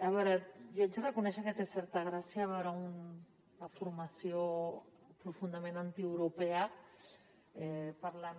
a veure jo haig de reconèixer que té certa gràcia veure una formació profundament antieuropea parlant